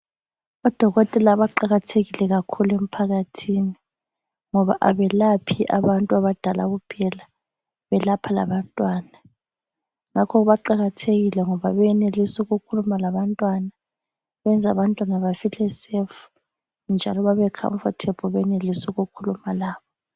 Odokotela baqakathekile kakhulu emphakathini ngoba abelaphi abantu abadala kuphela, belapha labantwana. Ngakho baqakathekile ngoba benelis'ukhuluma labantwana. Benza abantwana bafile safe njalo babe comfortable benelis'ukukhuluma labo.